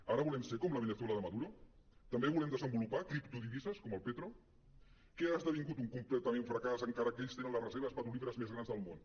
ara volem ser com la veneçuela de maduro també volem desenvolupar criptodivises com el petro que ha esdevingut un complet fracàs encara que ells tenen les reserves petrolíferes més grans del món